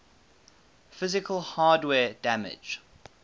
physical hardware damage